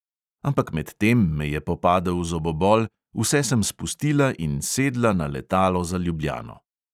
Ampak medtem me je popadel zobobol, vse sem spustila in sedla na letalo za ljubljano.